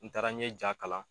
N taara n ye ja kalan